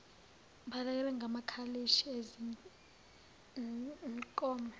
balekelela ngamakalishi ezinkomo